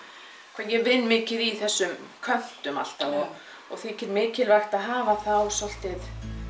hvernig ég vinn mikið í þessum köntum alltaf og þykir mikilvægt að hafa þá svolítið